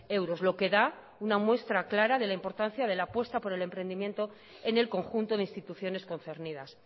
euros lo que da una muestra clara de la importancia de la apuesta por el emprendimiento en el conjunto de instituciones concernidas